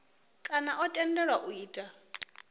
kana o tendelwaho u ita